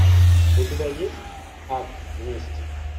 у тебя есть акт мести